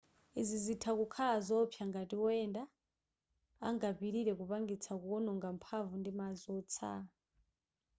izi zitha kukhala zowopsa ngati woyenda angapitilire kupangitsa kuononga mphamvu ndi madzi wotsala